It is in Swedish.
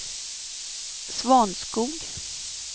Svanskog